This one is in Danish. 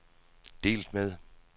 delt med